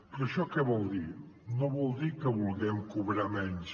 però això que vol dir no vol dir que vulguem cobrar menys